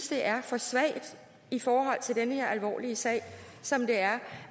det er for svagt i forhold til den her alvorlige sag som det er